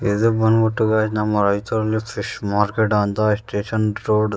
ಇದು ಬಂದುಬಿಟ್ಟು ಗೈಸ್ ನಮ್ಮ ರೈಚೂರು ಫಿಶ್ ಮಾರ್ಕೆಟ್ ಎಷ್ಟು ಚಂದ ರೋಡ್ --